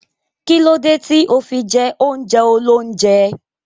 Kílódé tí o fi jẹ oúnjẹ óloúnjẹ?